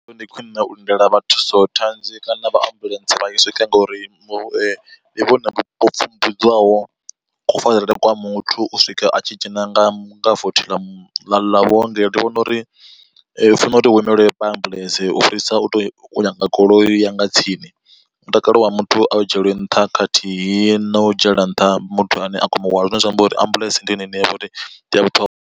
Ndi khwine u lindela vha thusothanzi kana vha ambuḽentse vha tshi swike ngauri ndi vhone vho pfhumbudzwaho kufarele kwa muthu u swika a tshi dzhena nga nga vothi ḽa vhuongelo. Ndi vhona uri hu funa uri hu imelwe vha ambuḽentse u fhirisa u to nyaga goloi ya nga tsini, mutakalo wa muthu a u dzhielwe nṱha khathihi na u dzhiela nṱha muthu ane a khou muhwala zwine zwa amba uri ambuḽentse ndi yone ine yavha uri ndi a vhuṱhongwa.